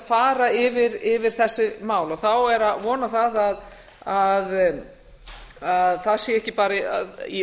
fara yfir þessi mál þá er að vona það að það sé ekki bara í